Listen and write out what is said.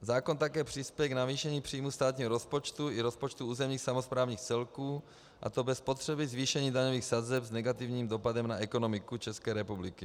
Zákon také přispěje k navýšení příjmů státního rozpočtu i rozpočtu územních samosprávných celků, a to bez potřeby zvýšení daňových sazeb s negativním dopadem na ekonomiku České republiky.